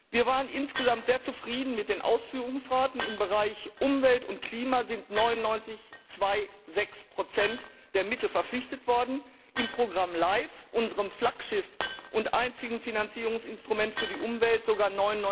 Wir waren insgesamt sehr zufrieden mit den Ausführungsraten Im Bereich Umwelt und Klima sind 99,26 der Mittel gebunden worden, im Programm LIFE, unserem Flaggschiff und einzigen Finanzierungsinstrument für die Umwelt, sogar